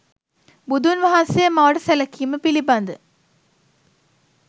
බුදුන් වහන්සේ මවට සැලකීම පිළිබඳ